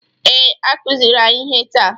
Ee, a kuziri anyị ihe taa.